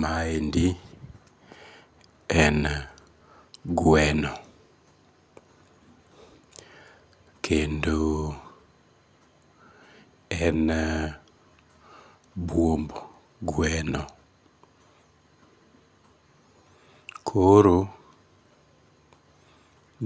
Maendi en gweno. Kendo en buomb gweno koro